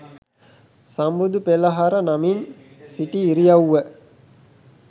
සම්බුදු පෙළහර නමින් සිටි ඉරියව්ව